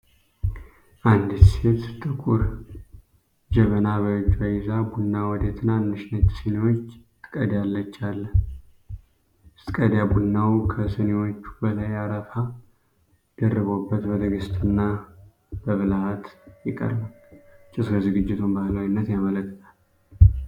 አንዲት ሴት ጥቁር ጀበና በእጇ ይዛ ቡና ወደ ትናንሽ ነጭ ሲኒዎች ስትቀዳ አለ። ቡናው ከሲኒዎቹ በላይ አረፋ ደርቦበት፣ በትዕግስትና በብልሃት ይቀርባል። ጭሱ የዝግጅቱን ባህላዊነት ያመለክታል።